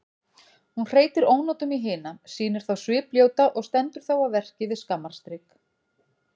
Hún hreytir ónotum í hina, sýnir þá svipljóta og stendur þá að verki við skammarstrik.